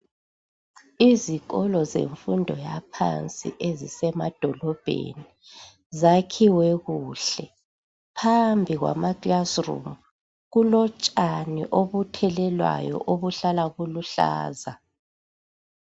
Izikolo zemfundo yaphansi ezisemadolobheni zakhiwe kuhle. Phambi kwama "classroom" kulotshani obuthelelwayo obuhlala buluhlaza.